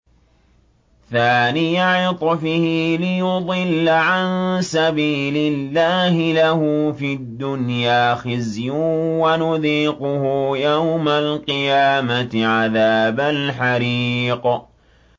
ثَانِيَ عِطْفِهِ لِيُضِلَّ عَن سَبِيلِ اللَّهِ ۖ لَهُ فِي الدُّنْيَا خِزْيٌ ۖ وَنُذِيقُهُ يَوْمَ الْقِيَامَةِ عَذَابَ الْحَرِيقِ